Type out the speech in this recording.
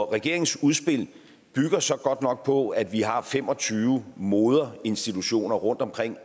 regeringens udspil bygger så godt nok på at vi har fem og tyve moderinstitutioner rundtomkring